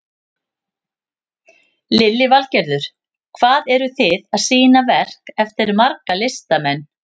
Lillý Valgerður: Hvað eru þið að sýna verk eftir marga listamenn?